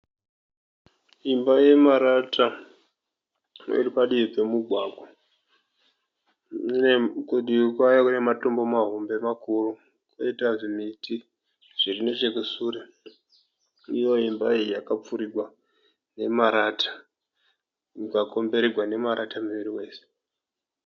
Imba yemarata iripadivi pemugwagwa. Kudivi kwayo kune matombo mahombe makuru koita zvimiti zviri nechekusure. Iyo imba iyi yakapfurirwa nemarata yakakombererwa nemarata miri wese.